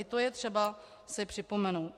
I to je třeba si připomenout.